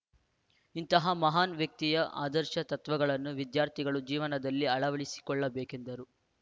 ಇಂತಹ ಮಹಾನ್‌ ವ್ಯಕ್ತಿಯ ಆದರ್ಶ ತತ್ವಗಳನ್ನು ವಿದ್ಯಾರ್ಥಿಗಳು ಜೀವನದಲ್ಲಿ ಅಳವಡಿಸಿಕೊಳ್ಳಬೇಕೆಂದರು